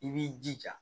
I b'i jija